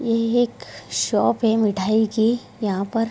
यही एक शॉप है मिठाई की यहाँ पर।